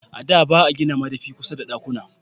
A da ba a gina madafi kusa da dakkuna